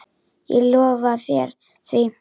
Ég lofa þér því.